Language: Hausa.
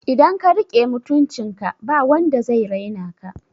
Idan ka riƙe mutuncin ka ba wanda zai raina ka